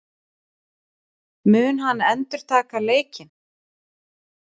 Mun hann endurtaka leikinn?